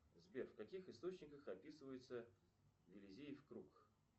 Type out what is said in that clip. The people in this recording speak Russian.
сбер в каких источниках описывается виллизиев круг